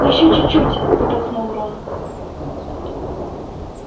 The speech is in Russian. ещё чуть-чуть выдохнул рон